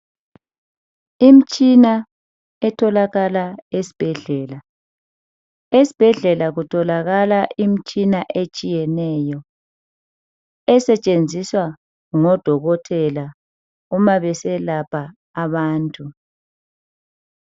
Imitshina etholakala esibhedlela, esibhedlela kutholakala imitshina etshiyeneyo esetshenziswa ngodokotela uma beselapha abantu.